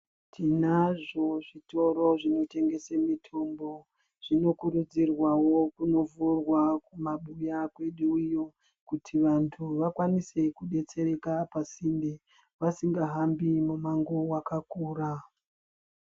Tinazvo zvitoro zvinotengesa mitombo zvinokurudzirwawo kundovhurwa kumabuya kwedu iyo kuti vantu vakwanise kudetsereka pasinde vasingahambi mumango wakakura.